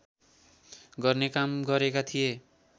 गर्ने काम गरेका थिए